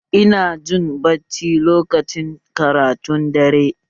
Ina jin bacci lokacin karatun dare